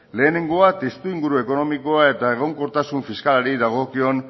lehenengoa testuinguru ekonomikoa eta egonkortasun fiskalari dagokion